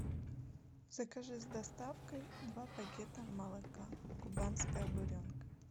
закажи с доставкой два пакета молока кубанская буренка